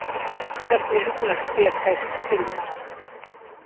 Hvernig hugnast þér þær tillögur?